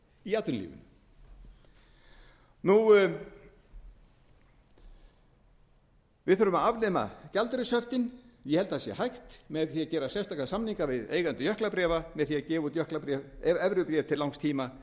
í atvinnulífinu við þurfum að afnema gjaldeyrishöftin ég held að það sé hægt með því að gera sérstaka samninga við eigendur jöklabréfa með því að gefa út evrur til langs tíma með